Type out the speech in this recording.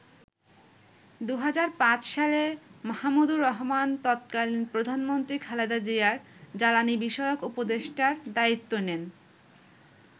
২০০৫ সালে মাহমুদুর রহমান তৎকালীন প্রধানমন্ত্রী খালেদা জিয়ার জ্বালানি বিষয়ক উপদেষ্টার দায়িত্ব নেন।